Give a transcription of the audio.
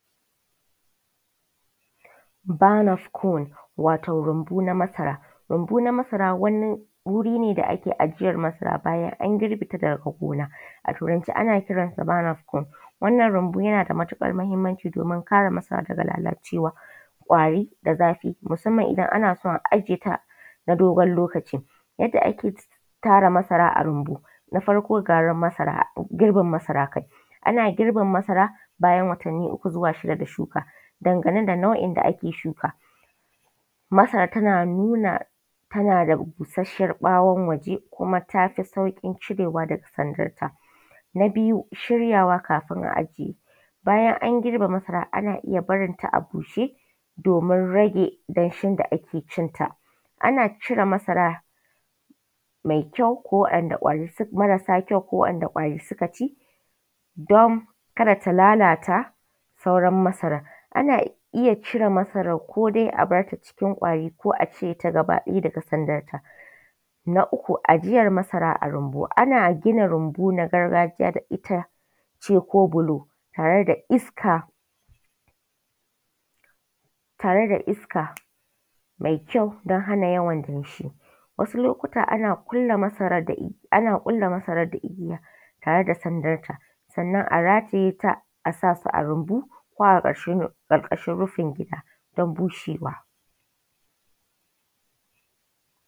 Bannerscorn wato rumbu na masara, rumbu na masara wani wuri ne da ake ajiyar masara bayan an girbe ta daga gona, a turanace ana kiransa banners corn. Rumbu yana da matuƙar mahimmanci domin kare masara daga lalalce musamman kwari da zafi idan ana son ajiye ta na dogon lokaci. Yadda ake yara masara a rumbu na farko dai girbin masara. Ana girbin masara bayan watanni uku da shukawa. Dangane da nau'in da ake shukuwa, masara tana nuna tana da busasshen ɓawon waje kuma tafi saukin cirewa daga sandarta. Na biyu shiryawa kafin a ajiye, bayan an girbe masara ana iya barinta a bushe domin rage danshin da ake cinta. Ana cire masara mai kyau ko waɗanda ƙwari suka ci don su lalata sauran masarana, ana iya cire masarar ko dai a barta cikin kwari ko dai a cire ta gaba ɗaya daga sandarta. Na uku a jiyar masara a rumbu ana ajiye masara. Ana gina rumbu na gargajiya da ita ce ko bulo tare da iska mai ƙyau don hana yawan danshi wasu lokacin ana ƙulle masarar da igiya tare da sandarta sannan a rataye ta a sa a rumbu tare da sandarta don bushewa.